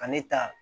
Ka ne ta